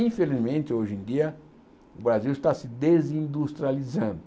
Infelizmente, hoje em dia, o Brasil está se desindustrializando.